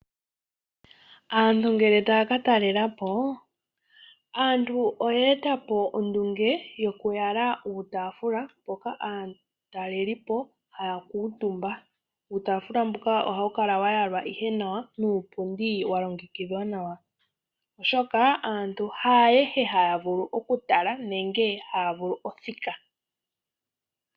Aantu ngele taya ka talela po, aantu oye eta po ondunge yokuyala uutaafula mpoka aatalelipo haya kuutumba. Uutaafula mbuka ohawu kala wa yalwa ihe nawa nuupundi wa longekidhwa nawa, oshoka aantu haayehe haya vulu okutala nenge haya vulu othika.